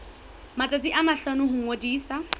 matsatsi a mahlano ho ngodisa